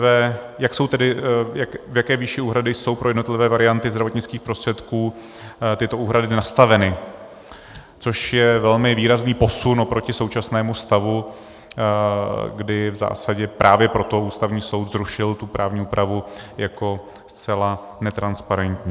v jaké výši úhrady jsou pro jednotlivé varianty zdravotnických prostředků tyto úhrady nastaveny, což je velmi výrazný posun oproti současnému stavu, kdy v zásadě právě proto Ústavní soud zrušil tu právní úpravu jako zcela netransparentní.